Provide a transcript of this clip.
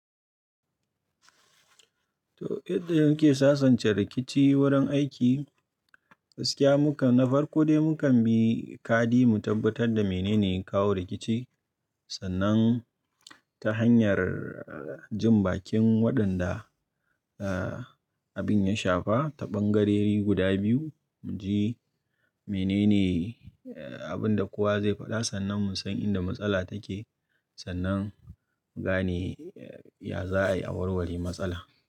To, idan yake sasance rikici wurin aiki, gskiya mukan na farko dai mukan bi kadi mu tabbatar da mene ne ya kawo rikici. Sannan ta hanyar jin bakin waɗanda, ah, abin ya shafa ta ɓangareri guda biyu, mu ji mene ne abin da kowa zai faɗa. Sannan mu san inda matsala take, sannan mu gane ya za a yi awarwari matsala.